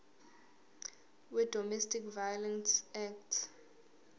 wedomestic violence act